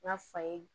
N ka fa ye